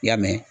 I y'a mɛn